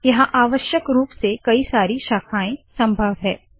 यहाँ आवश्यक रूप से कई सारी शाखाएं संभव है